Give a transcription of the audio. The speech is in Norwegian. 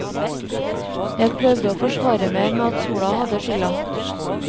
Jeg prøvde å forsvare meg med at sola hadde skylda.